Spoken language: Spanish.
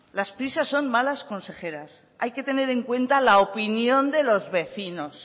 las prisas son malas consejeras hay que tener en cuenta la opinión de los vecinos